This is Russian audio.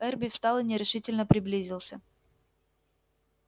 эрби встал и нерешительно приблизился